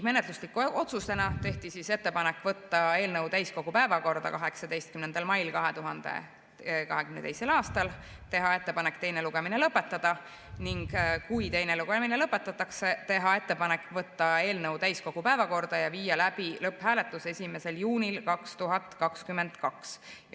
Menetluslike otsustena tehti ettepanek võtta eelnõu täiskogu päevakorda 18. mail 2022. aastal, otsustati teha ettepanek teine lugemine lõpetada ning kui teine lugemine lõpetatakse, teha ettepanek võtta eelnõu täiskogu päevakorda ja viia läbi lõpphääletus 1. juunil 2022.